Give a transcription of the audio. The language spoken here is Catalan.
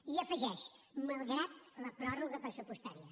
i hi afegeix malgrat la pròrroga pressupostària